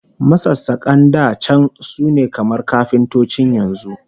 Masassakan da can sune kamar kafintocin yanzu